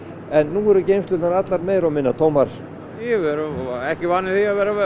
en nú eru geymslurnar allar meira og minna tómar við erum ekki vanir því að vera